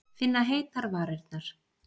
Finna heitar varirnar.